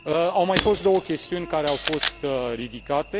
Au mai fost două chestiuni care au fost ridicate.